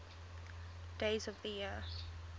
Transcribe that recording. days of the year